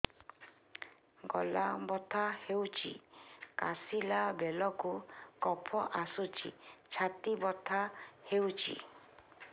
ଗଳା ବଥା ହେଊଛି କାଶିଲା ବେଳକୁ କଫ ଆସୁଛି ଛାତି ବଥା ହେଉଛି